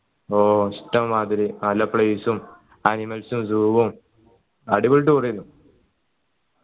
ഓ ഇഷ്ടം മാതിരി നല്ല place ഉം animals ഉം zoo ഉം അടിപൊളി tour ഏന്